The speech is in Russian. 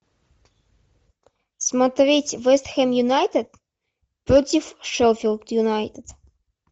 смотреть вест хэм юнайтед против шеффилд юнайтед